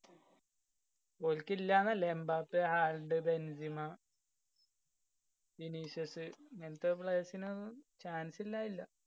ഓല്‍ക്കില്ലാന്നല്ല. Mbappe, Haaland, Benzema Vinicius ഇങ്ങനത്തെ players നൊന്നും chance ല്ല്യായില്ല്യാ.